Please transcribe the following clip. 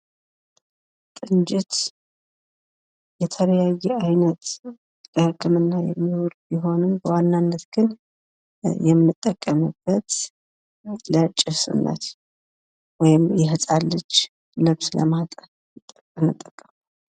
ጡንጅት ፤ የተለያየ አይነት ለህክምና የሚውል ቢሆንም በዋናነት ግን የምንጠቀምበት ለጭስነት ወይም የህጻን ልጅ ልብስ ለማጠብ እንጠቀምበታለን።